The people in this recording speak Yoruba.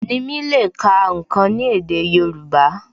Nimi le ká ǹkan ni èdè Yorùbá